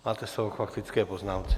Máte slovo k faktické poznámce.